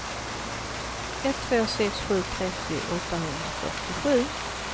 ett två sex sju trettio åttahundrafyrtiosju